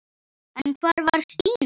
En hvar var Stína?